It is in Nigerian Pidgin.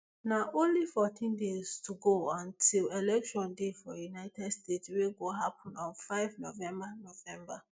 na only fourteen days to go until election day for united states wey go happun on five november november